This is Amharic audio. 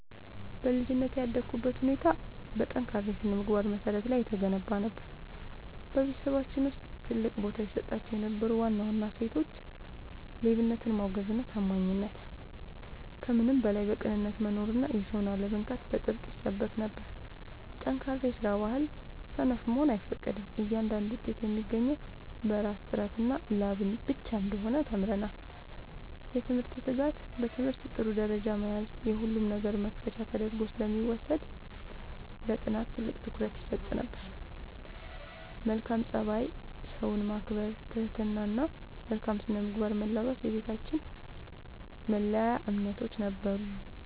በልጅነቴ ያደግኩበት ሁኔታ በጠንካራ የሥነ-ምግባር መሠረት ላይ የተገነባ ነበር። በቤተሰባችን ውስጥ ትልቅ ቦታ ይሰጣቸው የነበሩ ዋና ዋና እሴቶች፦ ሌብነትን ማውገዝና ታማኝነት፦ ከምንም በላይ በቅንነት መኖርና የሰውን አለመንካት በጥብቅ ይሰበክ ነበር። ጠንካራ የስራ ባህል፦ ሰነፍ መሆን አይፈቀድም፤ እያንዳንዱ ውጤት የሚገኘው በራስ ጥረትና ላብ ብቻ እንደሆነ ተምረናል። የትምህርት ትጋት፦ በትምህርት ጥሩ ደረጃ መያዝ የሁሉም ነገር መክፈቻ ተደርጎ ስለሚወሰድ ለጥናት ትልቅ ትኩረት ይሰጥ ነበር። መልካም ፀባይ፦ ሰውን ማክበር፣ ትህትና እና መልካም ስነ-ምግባርን መላበስ የቤታችን መለያ እምነቶች ነበሩ።